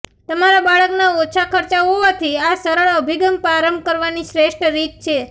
તમારા બાળકના ઓછા ખર્ચા હોવાથી આ સરળ અભિગમ પ્રારંભ કરવાની શ્રેષ્ઠ રીત છે